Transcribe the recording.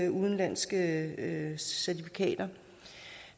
udenlandske certifikater det